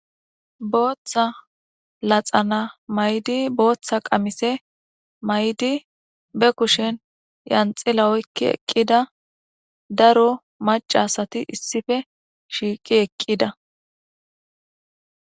Booththa laxana maydi booththa qamise maydi be kushen yanxila oykki eqqida daro macasati issife shiiqi eqqida.